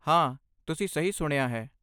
ਹਾਂ, ਤੁਸੀਂ ਸਹੀ ਸੁਣਿਆ ਹੈ।